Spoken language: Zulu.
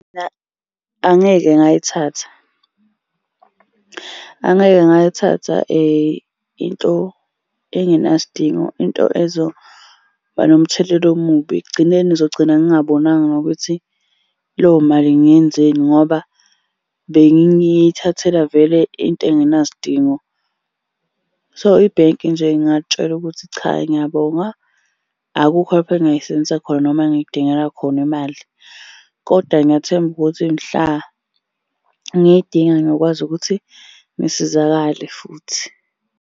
Mina angeke ngayithatha. Angeke ngayithatha into engenasidingo, into ezoba nomthelela omubi. Ekugcineni ngizogcina ngingabonanga nokuthi leyo mali ngiyenzeni ngoba bengiyithathele vele into engenasidingo. So, ibhenki nje ngingalitshela ukuthi cha ngiyabonga akukho lapha engingayisebenzisa khona noma engidingela khona imali kodwa ngiyathemba ukuthi mhla ngiyidinga ngokwazi ukuthi ngisizakale futhi.